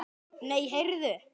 Nei, heyrðu!